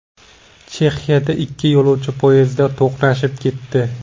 Chexiyada ikki yo‘lovchi poyezdi to‘qnashib ketdi .